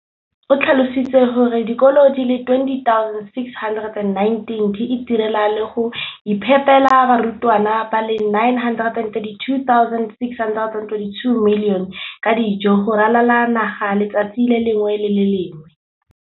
o tlhalositse gore dikolo di le 20 619 di itirela le go iphepela barutwana ba le 9 032 622 ka dijo go ralala naga letsatsi le lengwe le le lengwe.